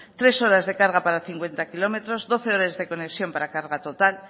tres horas de carga para cincuenta kilómetros doce horas de conexión para carga total